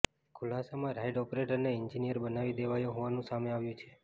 ખુલાસામાં ride ઓપરેટરને engineer બનાવી દેવાયો હોવાનું સામે આવ્યું છે